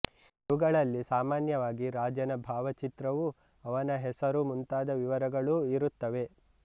ಇವುಗಳಲ್ಲಿ ಸಾಮಾನ್ಯವಾಗಿ ರಾಜನ ಭಾವಚಿತ್ರವೂ ಅವನ ಹೆಸರು ಮುಂತಾದ ವಿವರಗಳೂ ಇರುತ್ತವೆ